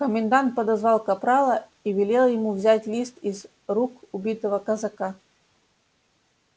комендант подозвал капрала и велел ему взять лист из рук убитого казака